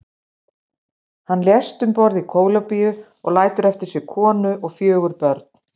Hann lést um borð í Kólumbíu og lætur eftir sig konu og fjögur börn.